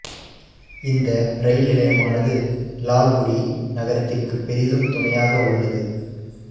இந்த இரயில் நிலையமானது இலால்குடி நகரத்திற்கு பொிதும் துணையாக உள்ளது